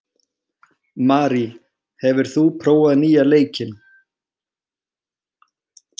Marí, hefur þú prófað nýja leikinn?